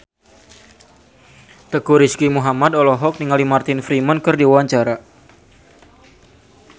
Teuku Rizky Muhammad olohok ningali Martin Freeman keur diwawancara